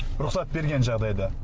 рұқсат берген жағдайда